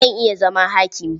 Zan iya zama hakimi.